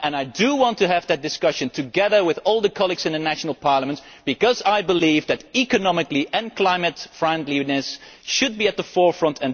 I want to have that discussion, together with all the colleagues in the national parliaments, because I believe that economy and climate friendliness should be at the forefront.